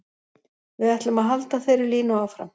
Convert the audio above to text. Við ætlum að halda þeirri línu áfram.